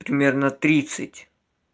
примерно тридцать